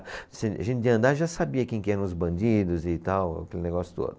A gente, de andar, já sabia quem que eram os bandidos e tal, aquele negócio todo.